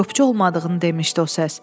Qopçu olmadığını demişdi o səs.